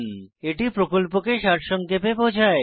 এটি প্রকল্পকে সারসংক্ষেপে বোঝায়